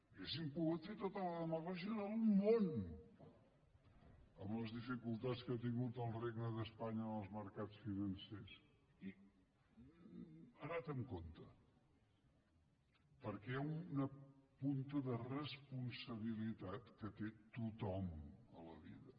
haurien pogut fer tota la demagògia del món amb les dificultats que ha tingut el regne d’espanya en els mercats financers i ha anat amb compte perquè hi ha una punta de responsabilitat que té tothom a la vida